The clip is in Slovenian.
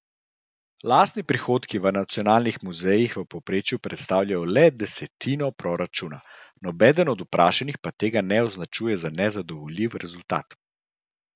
Lastni prihodki v nacionalnih muzejih v povprečju predstavljajo le desetino proračuna, nobeden od vprašanih pa tega ne označuje za nezadovoljiv rezultat.